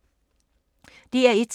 DR1